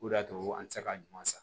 O de y'a to an tɛ se ka ɲuman san